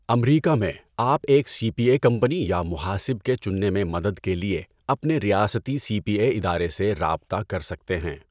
امریکہ میں، آپ ایک سی پی اے کمپنی یا مُحاسِب کے چننے میں مدد کے لیے اپنے ریاستی سی پی اے ادارے سے رابطہ کر سکتے ہیں۔